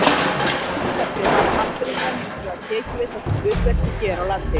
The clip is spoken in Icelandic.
Upp á síðkastið hafa Hafnfirðingar hins vegar tekið við þessu hlutverki hér á landi.